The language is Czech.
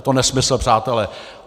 Je to nesmysl, přátelé!